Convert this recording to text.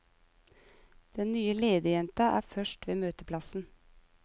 Den nye lederjenta er først ved møteplassen.